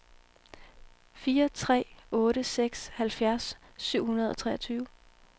fire tre otte seks halvfjerds syv hundrede og treogtyve